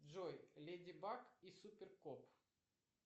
джой леди баг и супер кот